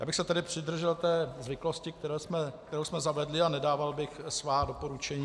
Já bych se tedy přidržel té zvyklosti, kterou jsme zavedli, a nedával bych svá doporučení.